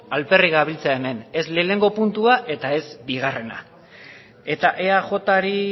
alferrik gabiltza hemen ez lehenengo puntua eta ez bigarrena eta eajri